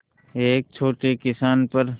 एक छोटे किसान पर